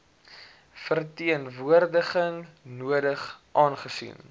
verteenwoordiging nodig aangesien